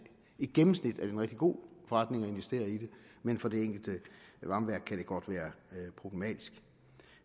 i gennemsnit er det en rigtig god forretning at investere i det men for det enkelte varmeværk kan det godt være problematisk